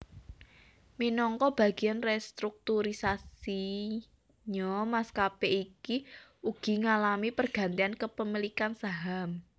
Minangka bagiyan restrukturisasinya maskapé iki uga ngalami pergantian kepemilikan saham